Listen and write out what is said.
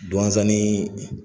Douentza nii